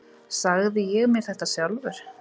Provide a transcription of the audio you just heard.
Sagði ég mér þetta sjálfur?